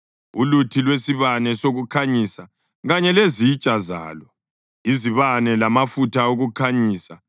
uluthi lwesibane sokukhanyisa kanye lezitsha zalo, izibane lamafutha okukhanyisa,